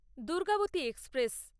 Durgavati express